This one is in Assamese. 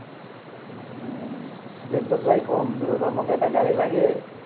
বেংকত যাই ক’ম যে দাদা, মোক এটা গাড়ী লাগে।